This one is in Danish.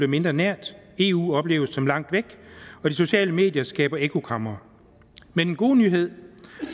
mindre nært eu opleves som langt væk og de sociale medier skaber ekkokamre men den gode nyhed